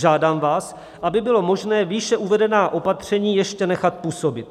Žádám vás, aby bylo možné výše uvedená opatření ještě nechat působit.